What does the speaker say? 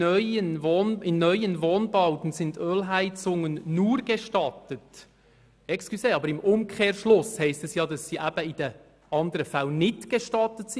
In neuen Wohnbauten sind Ölheizungen nur gestattet […]»– das heisst im Umkehrschluss, dass sie in den anderen Fällen nicht gestattet sind.